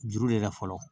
Juru le la fɔlɔ